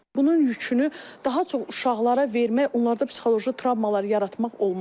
Bunun yükünü daha çox uşaqlara vermək, onlarda psixoloji travmalar yaratmaq olmaz.